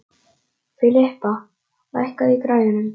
Filippa, lækkaðu í græjunum.